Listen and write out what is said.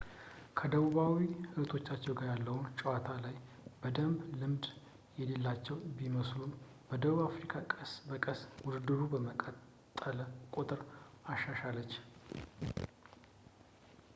ከደቡባዊ እህቶቻቸው ጋር ያለው ጨዋታ ላይ በደንብ ልምድ የሌላቸው ቢመስሉም ደቡብ አፍሪካ ቀስ በቀስ ውድድሩ በቀጠለ ቁጥር አሻሻለች